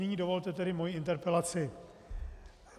Nyní dovolte tedy mou interpelaci.